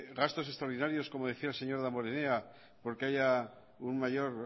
gastos extraordinarios como decía el señor damborenea porque haya un mayor